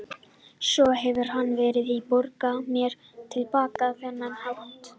Svo hefur hann verið að borga mér til baka á þennan hátt.